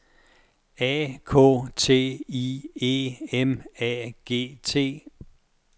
A K T I E M A G T